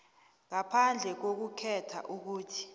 ngaphandle kokukhetha ukuthi